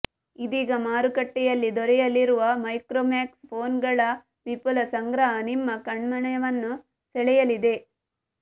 ಇದೀಗ ಮಾರುಕಟ್ಟೆಯಲ್ಲಿ ದೊರೆಯಲಿರುವ ಮೈಕ್ರೋಮ್ಯಾಕ್ಸ್ ಫೋನ್ಗಳ ವಿಫುಲ ಸಂಗ್ರಹ ನಿಮ್ಮ ಕಣ್ಮನವನ್ನು ಸೆಳೆಯಲಿದೆ